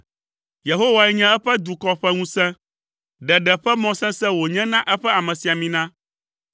Yehowae nye eƒe dukɔ ƒe ŋusẽ; ɖeɖe ƒe mɔ sesẽ wònye na eƒe amesiamina.